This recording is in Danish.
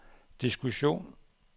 diskussion